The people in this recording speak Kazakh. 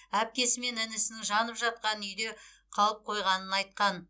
әпкесі мен інісінің жанып жатқан үйде қалып қойғанын айтқан